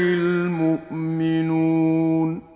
الْمُؤْمِنُونَ